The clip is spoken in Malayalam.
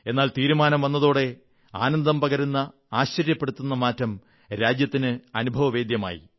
എന്നാൽ തീരുമാനം വന്നതോടെ ആനന്ദം പകരുന്ന ആശ്ചര്യപ്പെടുത്തുന്ന മാറ്റം രാജ്യത്തിന് അനുഭവവേദ്യമായി